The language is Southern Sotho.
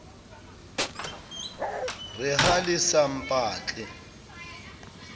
re ha le sa mpatla